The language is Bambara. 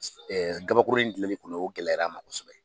gabakuruni kelen kun no o gɛlɛyara n ma kosɛbɛ.